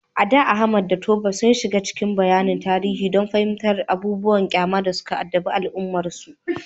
A da, Ahmad da Tope sun shiga cikin bayanan tarihi don fahimtar abubuwan ƙyama da suka addabi al’ummarsu.